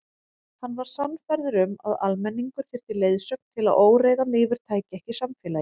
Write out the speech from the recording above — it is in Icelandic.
Hann var sannfærður um að almenningur þyrfti leiðsögn til að óreiðan yfirtæki ekki samfélagið.